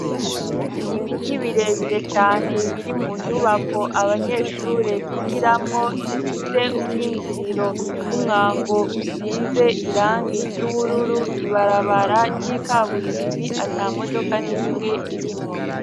Ibiti birebire cane biri mu nyubako abanyeshure bigiramwo rifise ubwinjiriro bw'umwango usize irangi ry'ubururu, ibarabara ry'ikaburimbi ata modoka n'imwe irimwo.